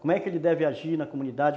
Como é que ele deve agir na comunidade?